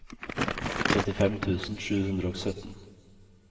trettifem tusen sju hundre og sytten